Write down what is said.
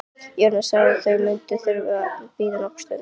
Jóra sá að þau mundu þurfa að bíða nokkra stund.